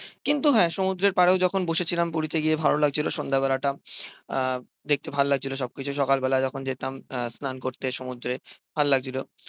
কিন্তু হ্যাঁ সমুদ্রের পাড়েও যখন বসে ছিলাম পুরীতে গিয়ে ভালো লাগছিল সন্ধ্যেবেলাটা। আহ দেখতে ভাল লাগছিল সবকিছু। সকালবেলা যখন যেতাম আহ স্নান করতে সমুদ্রে, ভাল লাগছিল।